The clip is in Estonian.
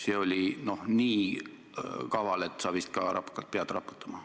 See oli, noh, nii kaval väide, et sa vist ka hakkad pead raputama.